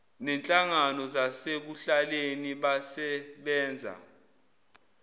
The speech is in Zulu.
nenhlangano zasekuhlaleni basebenza